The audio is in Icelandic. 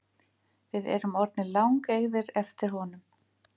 Við erum orðnir langeygðir eftir honum